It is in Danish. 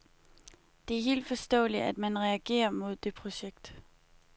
Det er helt forståeligt, at man reagerer mod det projekt.